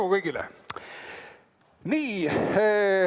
Edu kõigile!